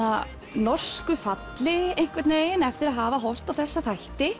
norsku falli eftir að hafa horft á þessa þætti